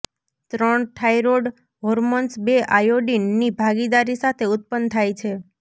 ત્રણ thyroid hormones બે iodine ની ભાગીદારી સાથે ઉત્પન્ન થાય છે